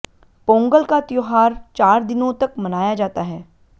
पोंगल का त्योहार चार दिनों तक मनाया जाता है